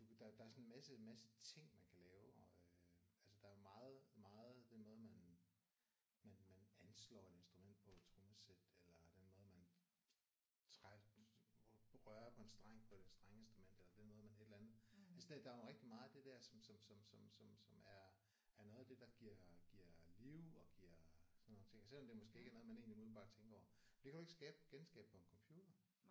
Der der er sådan en masse masse ting man kan lave og øh altså der er meget meget den måde man man man anslår et instrument på et trommesæt eller den måde man rører på en streng på et strengeinstrument eller den måde et eller andet der er rigtig meget af det der som som som som som er er noget af det der giver giver liv og giver sådan nogle ting og selvom det ikke er noget man egentlig umiddelbart tænker over. Det kan du ikke skabe genskabe på en computer